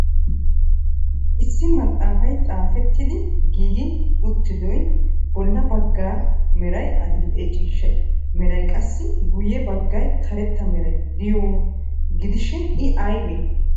Issi maxaafay xaafettidi giigi uttidaayyo bolla bagga meray adil"e ciishshay meray qassi guyye baggay karetta meray de'iyooha gidishin i obee?